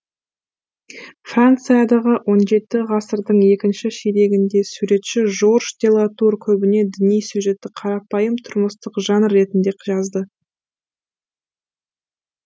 франциядағы он жеті ғасырдың екінші ширегіндегі суретші жорж де латур көбіне діни сюжетті қарапайым тұрмыстық жанр ретінде жазды